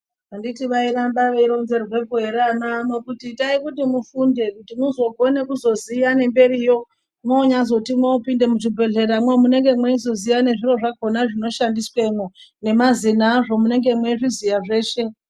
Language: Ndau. Anditi vairamba veironzerwepo anaano kuti itai kuti mufunde kuti muzokune kuzoziya nemberiyo mwonyazoti mwopinda muzvibhedhleramwo munenge mweizoziya nezviro zvakona zvinoshandiswemwo nemazino azvo munenge mweizviziya zveshe.